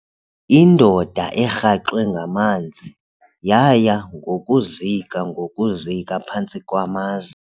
Indoda erhaxwe ngamanzi yaya ngokuzika ngokuzika phantsi kwamaza.